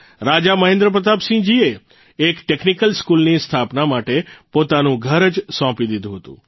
રાજા મહેન્દ્ર પ્રતાપસિંહજીએ એક ટેકનીકલ સ્કૂલની સ્થાપના માટે પોતાનું ઘર જ સોંપી દીધું હતું